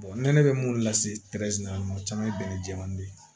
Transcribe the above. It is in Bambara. ne bɛ mun lase la o caman ye bɛnɛ jɛmani de ye